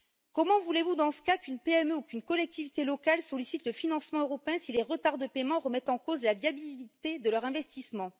Comment voulez vous dans ce cas qu'une PME ou qu'une collectivité locale sollicite les financements européens, si les retards de paiement remettent en cause la viabilité de leur investissement?